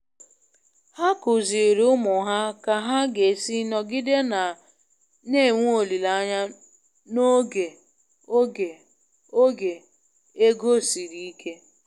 Ha kụziiri ụmụ ha ka ha ga-esi nọgide na-enwe olileanya n'oge oge oge ego siri ike.